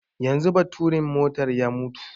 Yanzu baturin motar ya mutu